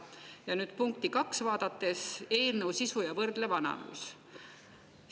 Ja nüüd vaatan punkti 2, "Eelnõu sisu ja võrdlev analüüs".